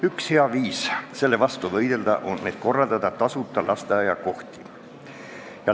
Üks hea viis selle vastu võidelda on võimaldada tasuta lasteaiakohti.